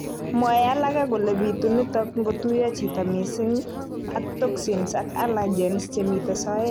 Mwoe alake kole bitu nitok ngotuiyo chito mising ak toxins ak allergens chemite soet